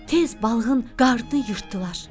Tez balığın qarnını yırtdılar.